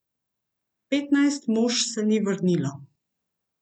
Petnajst mož se ni vrnilo.